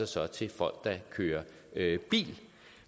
sig til folk der kører bil